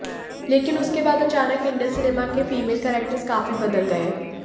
लेकिन उसके बाद अचानक इंडियन सिनेमा के फीमेल कैरेक्टर्स काफी बदल गए